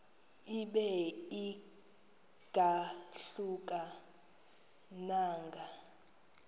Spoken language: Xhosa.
ibe ingahluka nanga